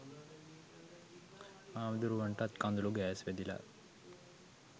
හාමුදුරුවන්ටත් කඳුළු ගෑස් වැදිලා